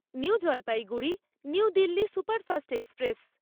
new Jalpaiguri New Delhi superfast express